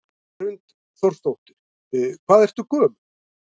Hrund Þórsdóttir: Hvað ertu gömul?